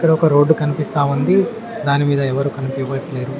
ఈడ ఒక రోడ్డు కనిపిస్తా ఉంది దాని మీద ఎవరు కనిపివట్లేరు.